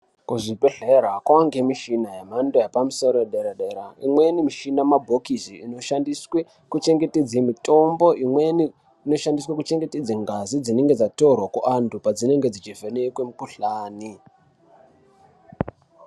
Kuzvibhedhlera kwavangemishina yemhando yepamusoro yedera-dera. Imweni michina mabhokisi inoshandiswe kuchengetedze mitombo. Imweni inoshandiswe kuchengetedze ngazi dzinenge dzatorwa kuantu padzinenge dzichivhenekwe mukuhlani.